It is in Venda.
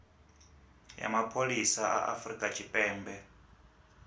ya mapholisa a afurika tshipembe